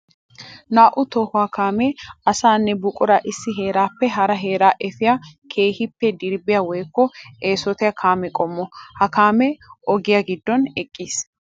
Naa'u tohuwa kaame asaanne buqura issi heerappe hara heera efiya keehippe dirbbiya woykko eesottiya kaame qommo. Ha kaame ogiya gidon eqqiis.